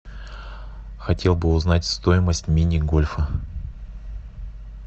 хотел бы узнать стоимость мини гольфа